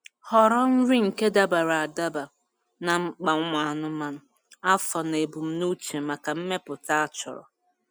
Họrọ nri nke dabara adaba na mkpa ụmụ anụmanụ, afọ na ebumnuche maka mmepụta a chọrọ